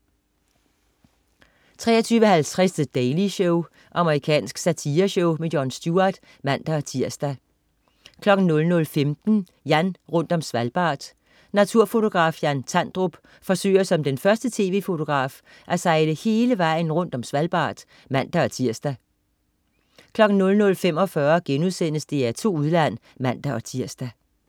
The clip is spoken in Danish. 23.50 The Daily Show. Amerikansk satireshow. Jon Stewart (man-tirs) 00.15 Jan rundt om Svalbard. Naturfotograf Jan Tandrup forsøger som den første tv-fotograf at sejle hele vejen rundt om Svalbard (man-tirs) 00.45 DR2 Udland* (man-tirs)